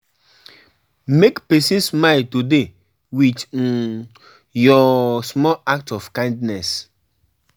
make pesin smile today with um your small act of kindness.